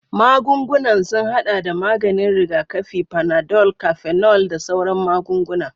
Magungunan sun haɗa da maganin rigakafi, panadol, cafenol, da sauran magunguna.